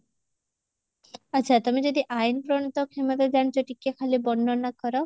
ଆଚ୍ଛା ତମେ ଯଦି ଆଇନ ପ୍ରଣିତ କ୍ଷମତା ଜାଣିଛ ଟିକେ ଖାଲି ବର୍ଣନା କର